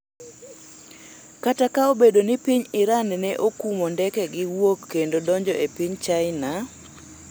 kata ka obedo ni piny Iran ne okumo ndekege wuok kendo donjo e piny China